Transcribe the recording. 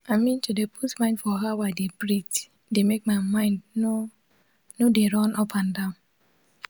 i mean to dey put mind for how i dey breath de make my mind nor nor d run upandan